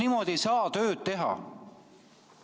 Niimoodi ei saa tööd teha!